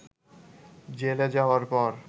জেলে যাওয়ার পর